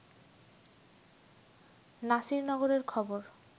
নাসির নগরের খবর